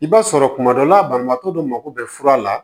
I b'a sɔrɔ kuma dɔ la banabaatɔ dɔ mako bɛ fura la